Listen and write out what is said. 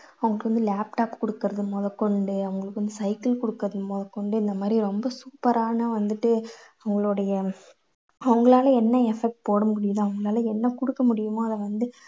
அவங்களுக்கு வந்து laptop குடுக்கறது முதல் கொண்டு அவங்களுக்கு வந்து cycle குடுக்கறது முதல் கொண்டு இந்த மாதிரி ரொம்ப super ஆன வந்துட்டு அவங்களுடைய அவங்களால என்ன effort போட முடியுதோ அவங்களால என்ன குடுக்க முடியுமோ அதை வந்து